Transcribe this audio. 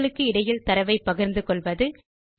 sheet களுக்கு இடையில் தரவை பகிர்ந்துகொள்வது